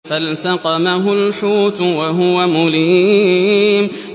فَالْتَقَمَهُ الْحُوتُ وَهُوَ مُلِيمٌ